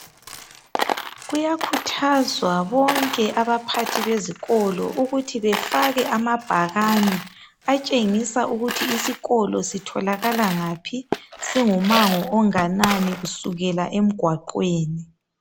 Kuyakhuthazwa bonke abaphathi bezikolo ukuthi befake amabhakane atshengisa ukuthi isikolo sitholakala ngaphi, singumango onganani kusukela emgwaqweni.